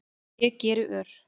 Ég geri ör